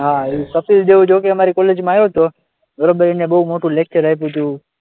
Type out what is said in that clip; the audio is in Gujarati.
હા, એ કપિલ દેવ જો કે અમારી કોલેજમાં આવ્યો હતો, બરાબર, એને બહુ મોટું લેકચર આપ્યું હતું.